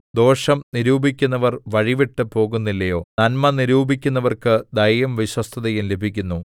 ദോഷം നിരൂപിക്കുന്നവർ വഴിവിട്ട് പോകുന്നില്ലയോ നന്മ നിരൂപിക്കുന്നവർക്ക് ദയയും വിശ്വസ്തതയും ലഭിക്കുന്നു